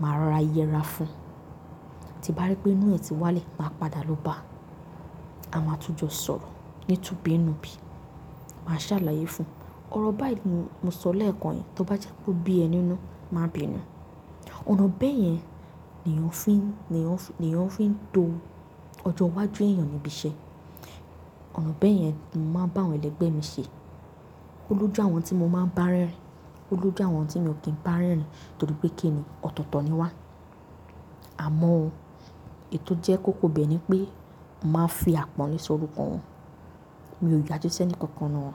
màá rọra yẹra fún un. Ti n bá rí pé inú ẹ́ ti wá lẹ, máa padà lọ bá, a máa tún jọ sọ̀rọ̀ ní túbinnúbí. Màá ṣàlàyé fún un. Ọ̀rọ̀ báyìí ni mo sọ lẹ́ẹ̀kan yẹn tó bá jẹ́ pé o bí ẹ ni inú, màá bìnu. Ọ̀nà bẹ́ẹ̀ yẹn ni èèyàn fi ń, ni èèyàn fi ń to ọjọ́ iwájú èèyàn níbi iṣẹ́. Ọ̀nà bẹ́ẹ̀ yẹn ni mo máa ń bá àwọn ẹlẹgbẹ́ mi ṣe. Ó lójú àwọn tí mo máa ń bá rẹ́rìn-ín, ó lójú àwọn tí mi ò kí ń bá rẹ́rìn-ín torí pé kínni ọ̀tọ̀ọ̀tọ̀ ni wà. Àmọ́ o, èyí jẹ́ kóko bẹ́ẹ̀ ni pé mo màá n fi àpọ́nle sorúkọ wọn. Mi ò yájú si ẹnìkan kan nínú wọn.